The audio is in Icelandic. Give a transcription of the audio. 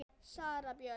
Sara Björk.